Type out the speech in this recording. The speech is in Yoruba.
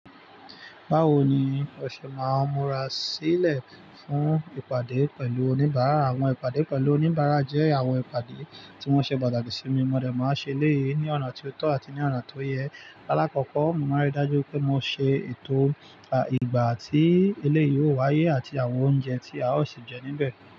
Bawo ni o ṣe máa múra sílẹ̀ fún ìpàdé pẹ̀lú oníbàárà? Àwọn ìpàdé pẹ̀lú oníbàárà jẹ́ àwọn ìpàdé tí wọ́n ṣe pàtàkì sí mi. Mọ̀dẹ́ máa ṣe eléyìí ní ọ̀nà tí ó tọ́ àti ní ọ̀nà tó yẹ. Láàkọ́kọ́, mo máa ń rí i dájú pé mo ṣe ètò ìgbà tí eléyìí yóò wáyé àti àwọn oúnjẹ tí a ó sì jẹ níbẹ̀